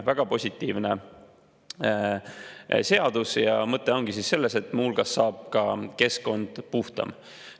Väga positiivne seadus ja mõte ongi selles, et muu hulgas saab ka keskkond puhtamaks.